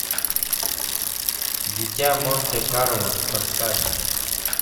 дитя монте карло поставь